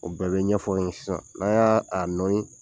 O bɛɛ be ɲɛfɔ n ye sisan, n'a' y'aa a nɔyin